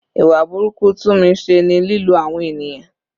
Ìwà burúkú Tunmise ni lílo àwọn ènìyàn.